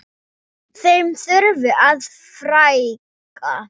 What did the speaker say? Þeim þurfi að fækka.